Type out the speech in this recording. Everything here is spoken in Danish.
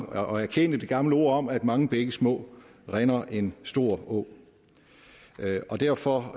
og erkende det gamle ord om at mange bække små rinder en stor å derfor har